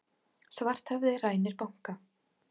Svarthöfði rænir banka